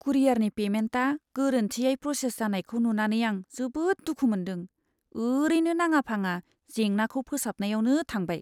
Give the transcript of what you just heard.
कुरियारनि पेमेन्टआ गोरोन्थियै प्रसेस जानायखौ नुनानै आं जोबोद दुखु मोन्दों, ओरैनो नाङा फाङा जेंनाखौ फोसाबनायावनो थांबाय।